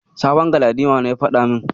Sabon Galadima ne ya faɗa min.